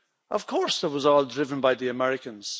Of course, it was all driven by the Americans